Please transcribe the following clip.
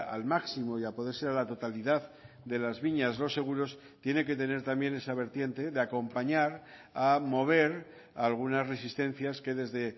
al máximo y a poder ser a la totalidad de las viñas los seguros tiene que tener también esa vertiente de acompañar a mover a algunas resistencias que desde